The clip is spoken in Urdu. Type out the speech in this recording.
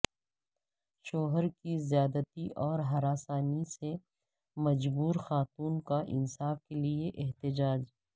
شوہر کی زیادتیوں اور ہراسانی سے مجبور خاتون کا انصاف کیلئے احتجاج